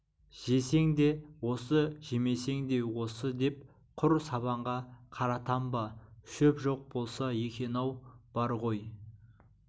жесең де осы жемесең де осы деп құр сабанға қаратам ба шөп жоқ болса екен-ау бар ғой